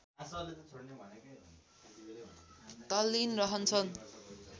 तल्लिन रहन्छन्